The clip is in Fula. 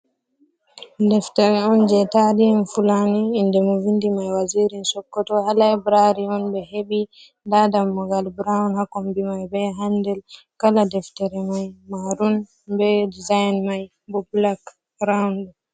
Deftere on je tarihin fulani, inde mo vindi mai Wazirin Sokoto. Ha laybirari on ɓe hebi. Nda dammu' gal brown hakombi mai be handil. Kala deftere mai marun be dizayn mai bo blak raund.